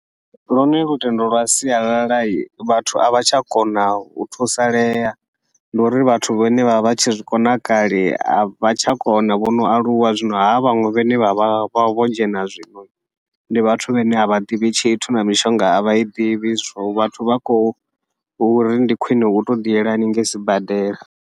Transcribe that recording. Lune lutendo lwa sialala vhathu avha tsha kona u thusalea, ndi uri vhathu vhane vha vha vhatshi zwikona kale avha tsha kona vhono aluwa, zwino havha vhaṅwe vhane vha vha vha vho dzhena zwino ndi vhathu vhane avha ḓivhi tshithu na mishonga avha i ḓivhi zwo vhathu vha khou uri ndi khwiṋe utou ḓi yela hanengei sibadela.